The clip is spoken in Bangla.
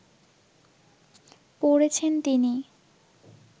পড়েছেন তিনি